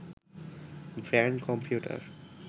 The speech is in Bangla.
brand computer